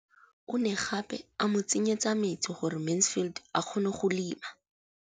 O ne gape a mo tsenyetsa metsi gore Mansfield a kgone go lema.